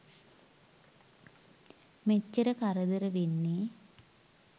මෙච්චර කරදර වෙන්නේ.